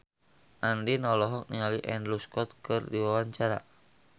Andien olohok ningali Andrew Scott keur diwawancara